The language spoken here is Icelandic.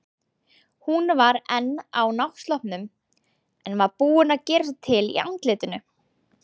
Hún var enn á náttsloppnum, en var búin að gera sig til í andlitinu.